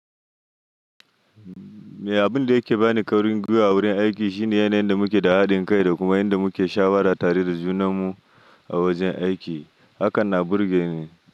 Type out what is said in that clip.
Abun da yake bani kwarin gwiwa a wurin aiki shine yanayin da muke da haɗin kai da kuma yanda muke shawarar tare da junanmu a wajen aiki. Hakan na burge ni.